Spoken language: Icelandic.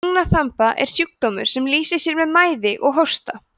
lungnaþemba er sjúkdómur sem lýsir sér með mæði og hósta